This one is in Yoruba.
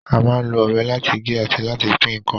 A máa ń lo ọ̀bẹ láti gé àti láti pín ǹkan